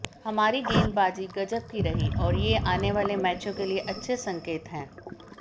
हमारी गेंदबाजी गजब की रही और ये आने वाले मैचों के लिए अच्छे संकेत हैं